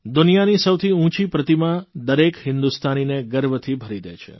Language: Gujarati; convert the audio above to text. દુનિયાની સૌથી ઉંચી પ્રતિમા દરેક હિન્દુસ્તાનીને ગર્વથી ભરી દે છે